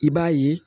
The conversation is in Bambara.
I b'a ye